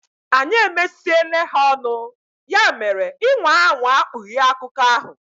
Anyị emesiele ha ọnụ, ya mere ị nwaa anwaa kpughe akụkọ ahụ!